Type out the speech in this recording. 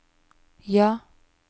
ja